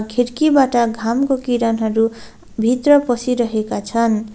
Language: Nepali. खिड्कीबाट घामको किरणहरू भित्र पसिरहेका छन्।